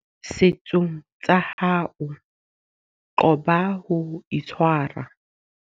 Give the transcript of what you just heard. Setsung tsa hao qoba ho itshwara.